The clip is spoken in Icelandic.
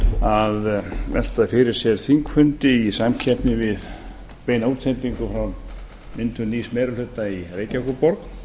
að velta fyrir sér þingfundi í samkeppni við beina útsendingu frá myndun nýs meiri hluta í reykjavíkurborg